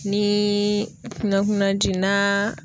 Nii kunna kunna ji n'a